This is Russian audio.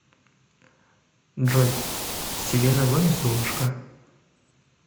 джой селена гомес золушка